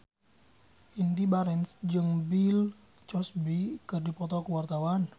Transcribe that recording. Indy Barens jeung Bill Cosby keur dipoto ku wartawan